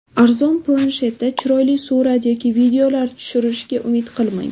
Arzon planshetda chiroyli surat yoki videolar tushirishga umid qilmang.